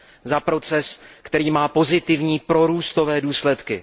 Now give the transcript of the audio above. Za proces, který má pozitivní prorůstové důsledky.